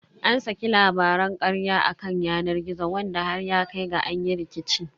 An saki labaran karya a kan yanar gizo wanda har ya kai ga an yi rikici.